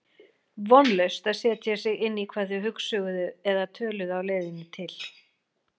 Vonlaust að setja sig inn í hvað þau hugsuðu eða töluðu á leiðinni til